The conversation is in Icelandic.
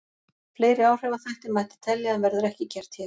Fleiri áhrifaþætti mætti telja en verður ekki gert hér.